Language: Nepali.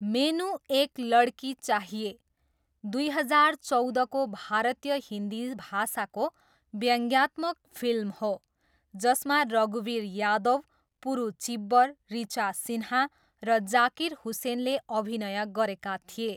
मेनु एक लडकी चाहिए, दुई हजार चौधको भारतीय हिन्दी भाषाको व्यङ्ग्यात्मक फिल्म हो, जसमा रघुवीर यादव, पुरु चिब्बर, ऋचा सिन्हा र जाकिर हुसेनले अभिनय गरेका थिए।